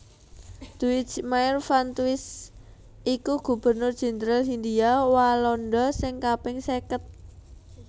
Duijmaer van Twist iku Gubernur Jendral Hindhia Walanda sing kaping seket